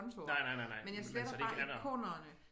Nej nej nej nej men så det ikke er der